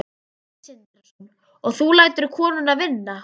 Sindri Sindrason: og þú lætur konuna vinna?